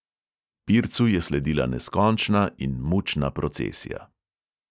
Pircu je sledila neskončna in mučna procesija.